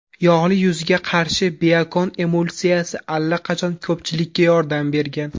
Yog‘li yuzga qarshi Biokon Emulsiyasi allaqachon ko‘pchilikga yordam bergan.